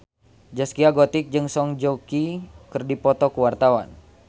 Zaskia Gotik jeung Song Joong Ki keur dipoto ku wartawan